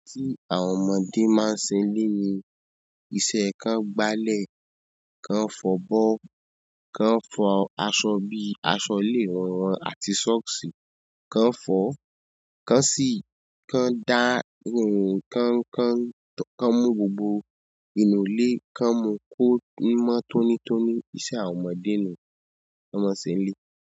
Àwọn ọmọdé máa ń ṣe nílé ni, iṣẹ́ kan gbálẹ̀, kan fọ́ bọ́, kan fọ aṣọ bíi aṣọ léwé wọn àti sọ́ọ̀sì, kan fọ́, kan sì kan dá irun kan. Kan mú gbogbo inú ilé, kan mú kó mọ́ tónítóní. Iṣẹ́ àwọn ọmọdé ni wọ́n máa ń ṣe nílé.